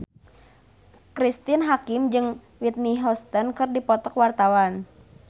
Cristine Hakim jeung Whitney Houston keur dipoto ku wartawan